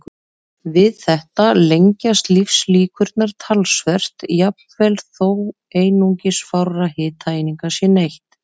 Við þetta lengjast lífslíkurnar talsvert, jafnvel þó einungis fárra hitaeininga sé neytt.